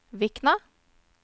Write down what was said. Vikna